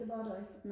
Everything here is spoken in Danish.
det var der ikke